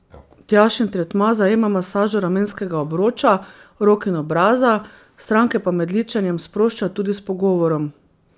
Tjašin tretma zajema masažo ramenskega obroča, rok in obraza, stranke pa med ličenjem sprošča tudi s pogovorom.